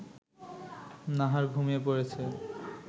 নাহার ঘুমিয়ে পড়েছে